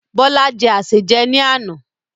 Bọlá jẹ́ asèjẹ ni àná.